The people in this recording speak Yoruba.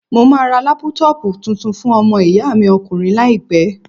Mo máa ra lápútọpù tuntun fún ọmọ ìyá mi ọkùnrin láìpẹ́.